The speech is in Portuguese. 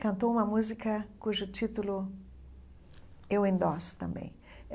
Cantou uma música cujo título eu endosso também.